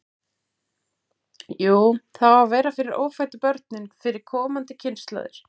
Jú, það á að vera fyrir ófæddu börnin, fyrir komandi kynslóðir.